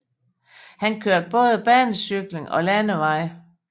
Han kørte både banecykling og på landevej